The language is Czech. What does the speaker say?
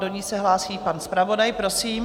Do ní se hlásí pan zpravodaj, prosím.